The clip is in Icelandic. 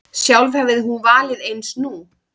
Sjálf hefði hún valið eins nú.